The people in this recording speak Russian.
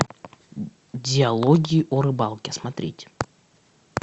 диалоги о рыбалке смотреть